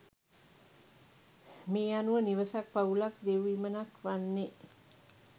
මේ අනුව නිවසක් පවුලක් දෙව්විමනක් වන්නේ